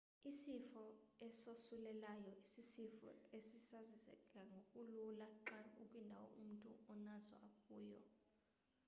isifo esosulelayo sisifo esisasazeka ngokulula xa ukwindawo umntu onaso akuyo